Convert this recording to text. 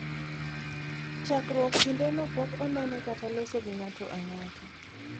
chakruok kinde no pok onene kata loso gi ng'ato ang'ata